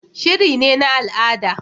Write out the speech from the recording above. Shiri ne na al'ada